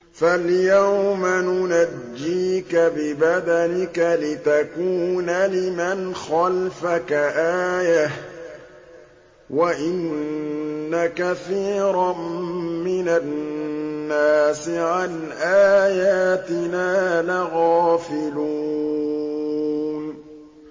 فَالْيَوْمَ نُنَجِّيكَ بِبَدَنِكَ لِتَكُونَ لِمَنْ خَلْفَكَ آيَةً ۚ وَإِنَّ كَثِيرًا مِّنَ النَّاسِ عَنْ آيَاتِنَا لَغَافِلُونَ